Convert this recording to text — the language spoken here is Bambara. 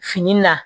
Fini na